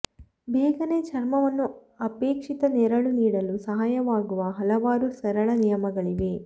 ಬೇಗನೆ ಚರ್ಮವನ್ನು ಅಪೇಕ್ಷಿತ ನೆರಳು ನೀಡಲು ಸಹಾಯವಾಗುವ ಹಲವಾರು ಸರಳ ನಿಯಮಗಳಿವೆ